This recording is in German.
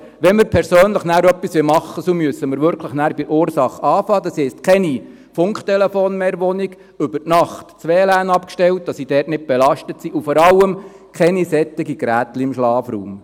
Wenn wir persönlich etwas tun wollen, müssen wir wirklich bei der Ursache beginnen, das heisst: keine Funktelefone mehr in der Wohnung, über Nacht das WLAN ausschalten, damit wir da nicht belastet sind, und vor allem: keine solchen Geräte im Schlafraum.